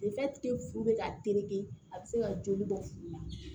furu bɛ ka tereke a bɛ se ka joli bɔ furu la